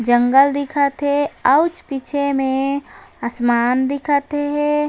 जंगल दिखत हे आउच पीछे में आसमान दिखत हे।